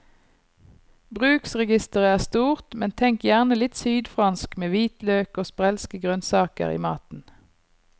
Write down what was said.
Bruksregisteret er stort, men tenk gjerne litt sydfransk med hvitløk og sprelske grønnsaker i maten.